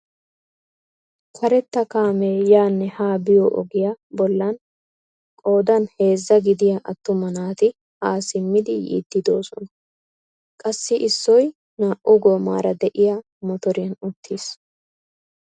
Karetta kaamee yaanne haa biyo ogiyaa bollan qoodan heezzaa gidiyaa attuma naati haa simmidi yiiddi de'oosona. qassi issoy naa"u goomara de'iyaa motoriyaan uttiis.